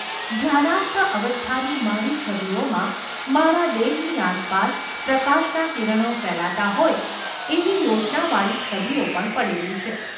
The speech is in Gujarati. ધ્યાનસ્થ અવસ્થાની મારી છબીઓમાં મારા દેહની આસપાસ પ્રકાશનાં કિરણો ફેલાતાં હોય એવી યોજનાવાળી છબીઓ પણ પડેલી છે.